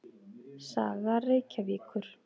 Saga Reykjavíkur.